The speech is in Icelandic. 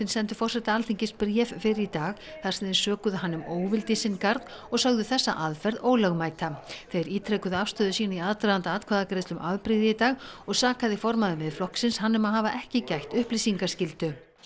sendu forseta Alþingis bréf fyrr í dag þar sem þeir sökuðu hann um óvild í sinn garð og sögðu þessa aðferð ólögmæta þeir ítrekuðu afstöðu sína í aðdraganda atkvæðagreiðslu um afbrigði í dag og sakaði formaður Miðflokksins hann um að hafa ekki gætt upplýsingaskyldu sem